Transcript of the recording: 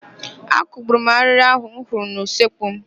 Akugburu m arịrị ahụ m hụrụ n'usekwu m.